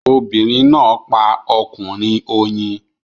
Obìnrin náà pa ọkùnrin oyin